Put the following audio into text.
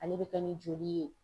Ale bɛ kɛ ni joli ye.